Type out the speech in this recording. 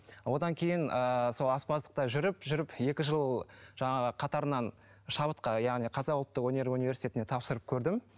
одан кейін ыыы сол аспаздықта жүріп жүріп екі жыл жаңағы қатарынан шабытқа яғни қазақ ұлттық өнер университетіне тапсырып көрдім